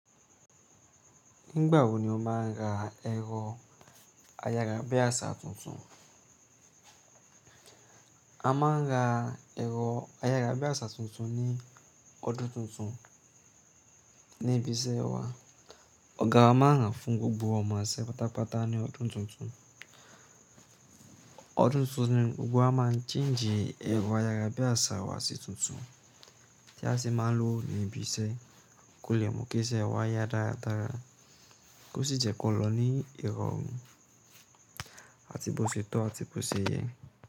Nígbà wo ni o máa ń ra ẹ̀rọ ayára bí àsá tuntun? A máa ń ra ẹ̀rọ ayára bí àsá tuntun ní ọdún tuntun ní ibi iṣẹ́ wa. Ọ̀gá wa máa ń raa fún gbogbo ọmọ iṣẹ́ pátápátá ní ọdún tuntun. Ọdún tuntun ni gbogbo wa máa ń ṣenji i ẹ̀rọ ayára bí àsá wa sí tuntun tí a sì máa lò ní ibi iṣẹ́ kó lè mú kí iṣẹ́ wa yá dáradára. Kó sì jẹ́ kò lò ní irọrun àti bó ṣe tọ́ àti bó ṣe yẹ́.